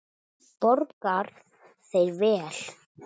Borga þeir vel?